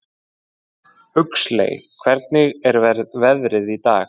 Huxley, hvernig er veðrið í dag?